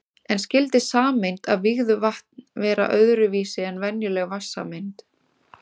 En skyldi sameind af vígðu vatn vera öðru vísi en venjuleg vatnssameind?